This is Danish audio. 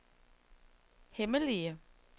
hemmelige